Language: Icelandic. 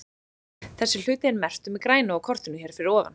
Þessi hluti er merktur með grænu á kortinu hér fyrir ofan.